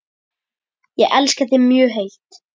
Ég elska þig mjög heitt.